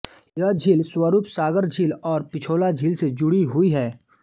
यह झील स्वरूप सागर झील और पिछोला झील से जुड़ी हुई है